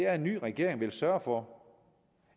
at en ny regering vil sørge for